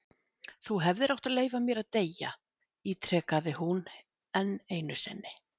Þú hefðir átt að leyfa mér að deyja- ítrekaði hún enn einu sinni.